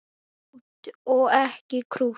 Krútt og ekki krútt.